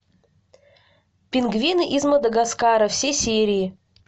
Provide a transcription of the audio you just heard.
пингвины из мадагаскара все серии